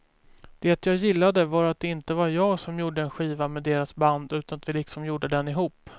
Det jag gillade var att det inte var jag som gjorde en skiva med deras band utan att vi liksom gjorde den ihop.